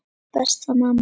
Elsku besta mamma.